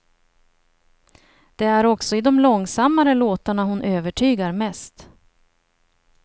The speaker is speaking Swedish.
Det är också i de långsammare låtarna hon övertygar mest.